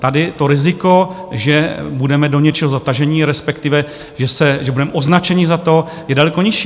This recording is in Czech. Tady to riziko, že budeme do něčeho zataženi, respektive že budeme označeni za to, je daleko nižší.